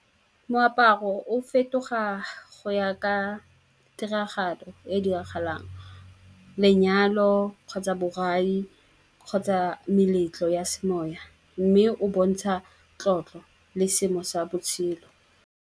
Moaparo o fetoga go ya ka tiragalo e diragalang, lenyalo kgotsa borai kgotsa meletlo ya semoya. Mme o bontsha tlotlo le seemo sa botshelo.